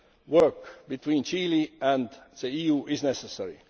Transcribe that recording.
depth work between Chile and the EU is necessary.